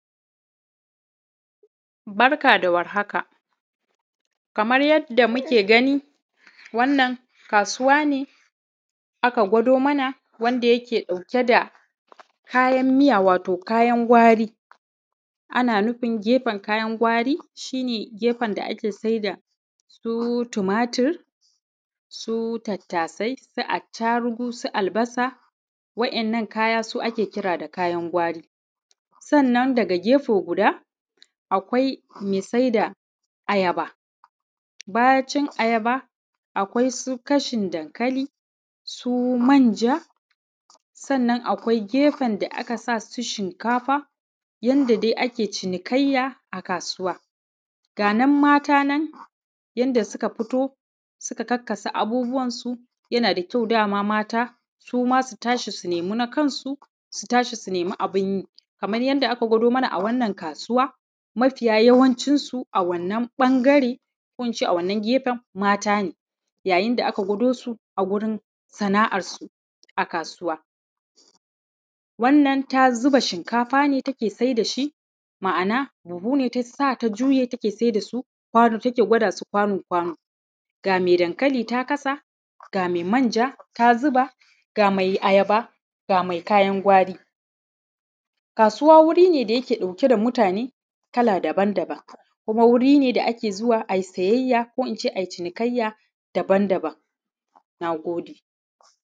Barka dawar haka. Kaman yadda muke gani wannan kasuwa ne aka gwado mana wadda yake ɗauke da kayan miya wato kayan gwari. Ana nufin gefen kayan gwari shine gefen da ake saida irrin su tumatur, ai, su attarugu, su tattas, su attarugu, su albasa wa ‘yan’ nan kaya su ake kira da kayan gwari. Sannan daga gefe guda akwai mai saida ayaba, bacin ayaba akwai su kashin dankali, su manja. Sannan akwai gefen da a kasa su shimkafa yanda dai ake cinikayya a kasuwa. Ga ‘yan’ matanan yanda suka fito suka kakkasa abubuwan su yana da kyau dama mata suma su tashi su naimi na kansu su tashi su naimi abinyi. Kama yadda aka gwado mana a wannan kasuwa mafiya yawancinsu a wannan kasuwa ko ince a wannan ɓangare matane ya yinda aka gwado su a gurin sana’ar su a kasuwa. Wannan ta zuba shinkafa ne take sai dashi ma’ana buhu ne tasa take sai dasu ta gwada su kwano kwano. Ga mai dankali ta kasa, ga mai manja ta zuba, ga mai ayaba ga mai kayan gwari. Kasuwa wuri ne da yake ɗauke da mutane kala daban daban kuma wuri ne da ake zuwa ai siyayya ko ince ai cinikayya daban daban. Nagode